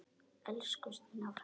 Elsku Stína frænka!